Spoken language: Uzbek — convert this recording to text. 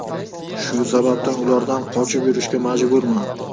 Shu sabab ulardan qochib yurishga majburman.